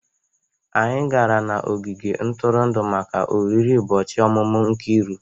Anyị gara n'ogige ntụrụndụ maka oriri ụbọchị ọmụmụ Nkiru.